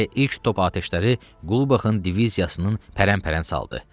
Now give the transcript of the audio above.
Elə ilk top atəşləri Qulbaxın diviziyasının pərən-pərən saldı.